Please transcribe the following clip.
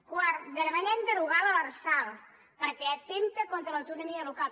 quart demanem derogar l’lrsal perquè atempta contra l’autonomia local